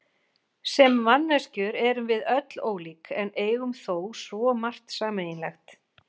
Sem manneskjur erum við öll ólík en eigum þó svo margt sameiginlegt.